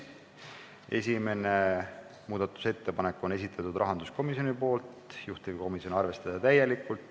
Esimese muudatusettepaneku on esitanud rahanduskomisjon, juhtivkomisjon seisukoht on seda arvestada täielikult.